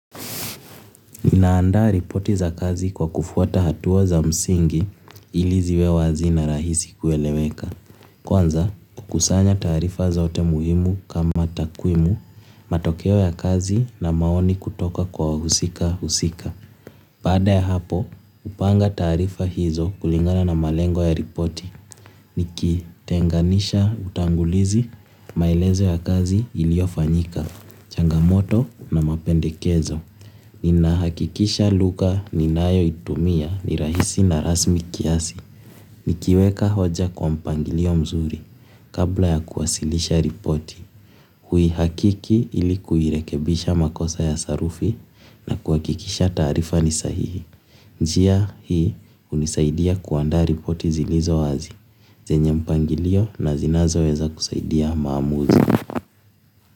Ninaandaa ripoti za kazi kwa kufuata hatua za msingi ili ziwe wazi na rahisi kueleweka. Kwanza, kukusanya taarifa zote muhimu kama takwimu, matokeo ya kazi na maoni kutoka kwa wahusika husika. Baada ya hapo, hupanga taarifa hizo kulingana na malengo ya ripoti. Niki tenganisha utangulizi, maelezo ya kazi ilio fanyika, changamoto na mapendekezo. Nina hakikisha lugha ninayo itumia ni rahisi na rasmi kiasi. Nikiweka hoja kwa mpangilio mzuri kabla ya kuwasilisha ripoti hui hakiki ilikuirekebisha makosa ya sarufi na kuhakikisha taarifa ni sahihi. Njia hii hunisaidia kuanda ripoti zilizo wazi zenye mpangilio na zinazo weza kusaidia maamuzi.